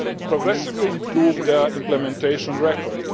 progressively improve their implementation record.